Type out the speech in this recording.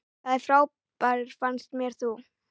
Það frábær fannst mér þú.